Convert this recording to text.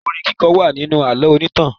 Orin kíkọ wà nínú àlọ́ onítàn.